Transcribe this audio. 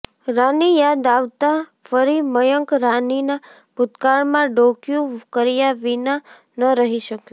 રાની યાદ આવતાં ફરી મયંક રાનીનાં ભૂતકાળમાં ડોકિયું કર્યાં વિના ન રહી શકયો